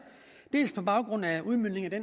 dels på baggrund af udmøntningen af